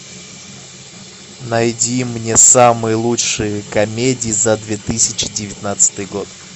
найди мне самые лучшие комедии за две тысячи девятнадцатый год